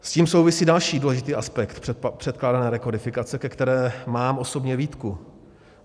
S tím souvisí další důležitý aspekt předkládané rekodifikace, ke které mám osobně výtku.